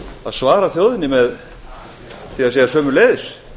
að svara þjóðinni með því að segja sömuleiðis